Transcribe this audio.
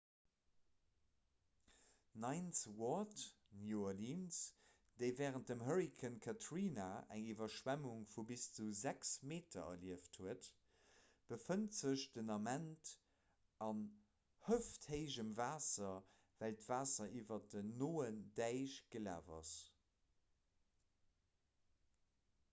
ninth ward new orleans déi wärend dem hurrikan katrina eng iwwerschwemmung vu bis zu 6 meter erlieft huet befënnt sech den ament an hëfthéijem waasser well d'waasser iwwer den noen däich gelaf ass